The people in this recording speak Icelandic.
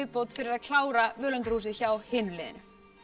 fyrir að klára völundarhúsið hjá hinu liðinu